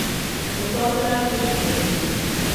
Fotoaparat je škljocnil.